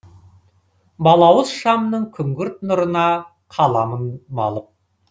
балауыз шамның күңгірт нұрына қаламын малып